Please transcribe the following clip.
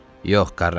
Yox, Quaranti.